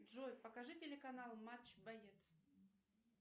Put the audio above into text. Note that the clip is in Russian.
джой покажи телеканал матч боец